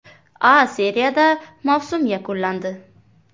A seriyada mavsum yakunlandi.